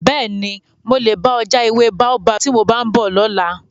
Bẹ́ẹ̀ni, mo lè bá ọ já ewé Baobab tí mo bá ń bọ̀ lọ́la.